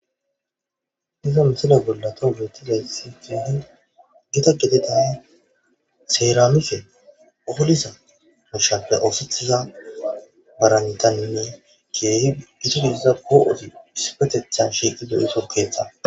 Iza misila bollata wuzetizaysi geahin gita gededan seeranuse oholisa mushappe oosethiza barantanninne keehi gisigidiza gooosi isipetetha shiiqi do7iso keeththa